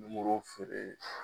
Nimoro feere